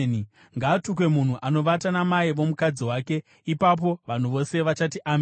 “Ngaatukwe munhu anovata namai vomukadzi wake.” Ipapo vanhu vose vachati, “Ameni!”